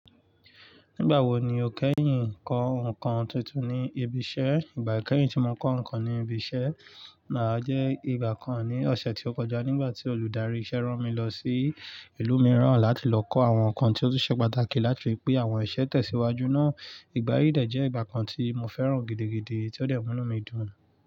Nígbà wo ni o kẹ́yìn ń kọ ǹkan tuntun ní ibi iṣẹ́? Ìgbà kẹ́yìn tí mo kọ ǹkan ní ibi iṣẹ́ náà jẹ́ ìgbà kan ní ọ̀sẹ̀ ti ó kọjá nígbà tí olùdarí iṣẹ́ rán mi lọ sí ìlú mìíràn láti lọ kọ àwọn ǹkan tí ó tún ṣe pàtàkì láti ri pe àwọn ìṣe tẹ̀síwájú náà. Ìgbà yíì dẹ́ ìgbà kan tí mo fẹ́ràn gidigidi, tí ó dẹ̀ mú inu mi dùn.